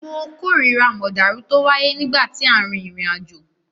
Mo kórira mọ̀dàrú tó wáyé nígbà tí à ń rin ìrìnàjò.